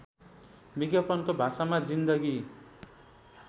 विज्ञापनको भाषामा जिन्दगी